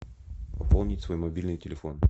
пополнить свой мобильный телефон